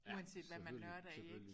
Uanset hvad man nørder i ik